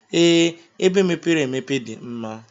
Ee, ebe mepere emepe dim mma.